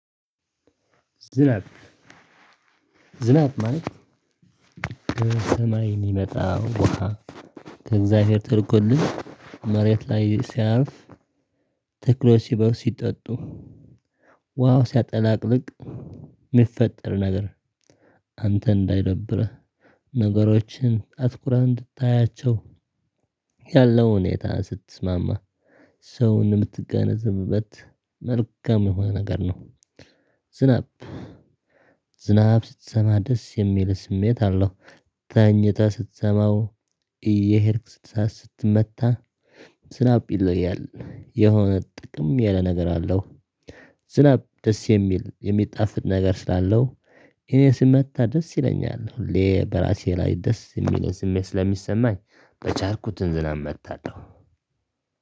ዝናብ ዝናብ ማለት ከሰማይ የሚመጣ ውሃ ከእግዚአብሔር ተልኮልን መሬት ላይ ሲያርፍ ተክሎች ስበው ሲጠጡ ውሃ ሲያጠላቅልቅ የሚፈጠር ነገር አንተ እንዳይደብርህ ነገሮችን አትኩረህ እንድታያቸው ያለው ሁኔታ ስትስማማ ሰውን የምትገነዘብበት መልካም የሆነ ነገር ነው። ዝናብ ዝናብ ስትሰማ ደስ የሚል ስሜት አለው ተኝተህ ስትሰማው እየሄድክ ስትሰማው ስትመታ ዝናብ ይለውያል የሆነ ጥቅም ያለ ነገር አለው። ዝናብ ደስ የሚል የሚጣፍጥ ነገር ስላለው እኔ ስመታ ደስ ይለኛል ሁሌ በራሴ ላይ ደስ የሚልን ስሜት ስለሚሰማኝ በቻልኩትን ዝናብ መጥታለሁ።